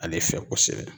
Ale fɛ kosɛbɛ